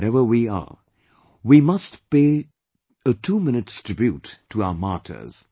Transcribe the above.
Wherever we are, we must pay two minutes tribute to our martyrs